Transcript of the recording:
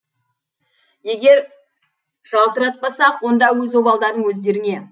егер жалтыратпасақ онда өз обалдырың өздеріңе